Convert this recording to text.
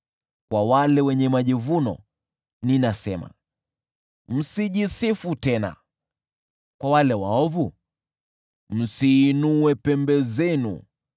Kwa wale wenye majivuno ninasema, ‘Msijisifu tena,’ kwa wale waovu, ‘Msiinue pembe zenu.